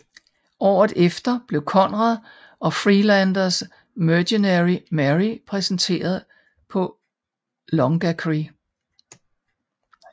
Året efter blev Conrad og Friedlanders Mercenary Mary præsenteret på Longacre